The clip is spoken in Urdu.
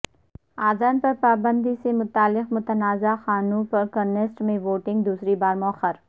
اذان پرپابندی سے متعلق متنازع قانون پرکنیسٹ میں ووٹنگ دوسری بار موخر